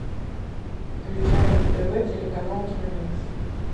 включай на тв телеканал киномикс